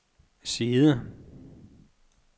side